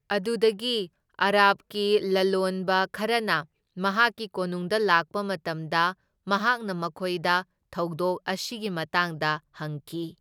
ꯑꯗꯨꯗꯒꯤ ꯑꯔꯕꯀꯤ ꯂꯂꯣꯟꯕ ꯈꯔꯅ ꯃꯍꯥꯛꯀꯤ ꯀꯣꯅꯨꯡꯗ ꯂꯥꯛꯄ ꯃꯇꯝꯗ ꯃꯍꯥꯛꯅ ꯃꯈꯣꯏꯗ ꯊꯧꯗꯣꯛ ꯑꯁꯤꯒꯤ ꯃꯇꯥꯡꯗ ꯍꯪꯈꯤ꯫